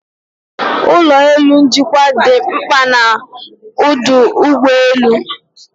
Ulọ elu njikwa dị mkpa na ọdụ ụgbọ elu